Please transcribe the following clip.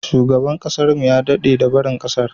Shugaban kasar mu ya dade da barin kasar.